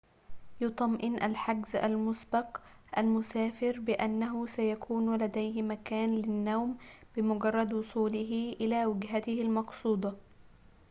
يُطمئن الحجزُ المُسبق المسافرَ بأنّه سيكونُ لديه مكانٌ للنوم بمجرّد وصوله إلى وجهتهِ المقصودةِ